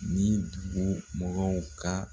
Ni bu mɔgɔw ka